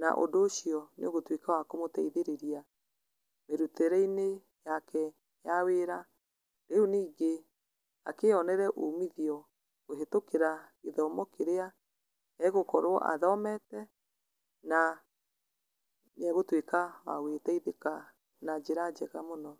na ũndũ ũcio nĩũgũtuĩka wa kũmũteithĩrĩria mĩrutĩre-inĩ yake ya wĩra, rĩu ningĩ akĩyonere umitho kũhĩtũkĩra gĩthomo kĩrĩa egũkorwo athomete, na nĩegũtuĩka wa gũgĩteithĩka na njĩra njega mũno.